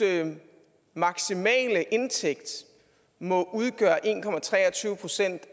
maksimale indtægt må udgøre en procent